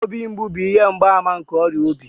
Obi mgbu bụ ihe mgbaàmà nke ọrịa obi